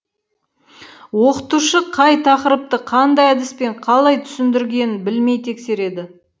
оқытушы қай тақырыпты қандай әдіспен қалай түсіндіргенін білмей тексереді